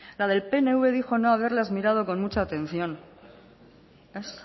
la del pnv dijo no haberlas mirado con mucha atención ez